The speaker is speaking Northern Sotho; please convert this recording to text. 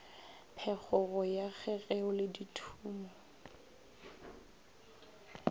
phekgogo ya kgegeo le dithumo